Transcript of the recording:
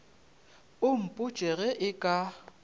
o mpotše ge e ka